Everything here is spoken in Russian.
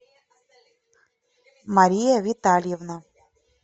мария витальевна